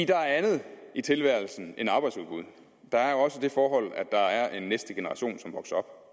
der er andet i tilværelsen end arbejdsudbud der er også det forhold at der er en næste generation som vokser